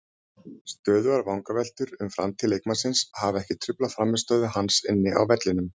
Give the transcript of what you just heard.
Stöðugar vangaveltur um framtíð leikmannsins hafa ekki truflað frammistöðu hans inni á vellinum.